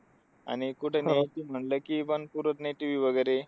आणि कुठं ठेवायचं म्हणलं की पण पुरत नाही TV वगैरे.